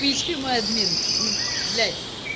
пи эс пи май админ ну блять